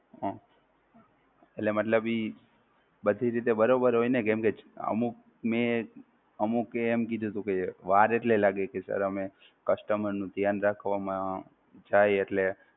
હમ એટલે મતલબ બધી રીતે બરોબર હોય ને કેમ કે અમુક મે અમુક એ એમ કીધું હતું કે વાર એટલે લાગે sir અમે customer નું ધ્યાન રાખવામાં જાય એટલે